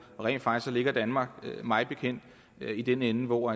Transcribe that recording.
rent faktisk ligger danmark mig bekendt i den ende hvor